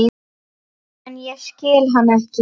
En ég skil hann ekki.